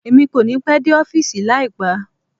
Emi kòní pẹ́ dé ọ́fìsì láípá